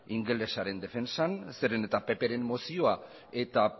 ingelesaren defentsan zeren eta pp ren mozioa eta